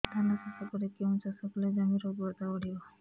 ଧାନ ଚାଷ ପରେ କେଉଁ ଚାଷ କଲେ ଜମିର ଉର୍ବରତା ବଢିବ